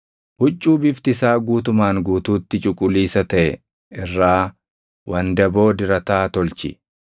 “Huccuu bifti isaa guutumaan guutuutti cuquliisa taʼe irraa wandaboo dirataa tolchi;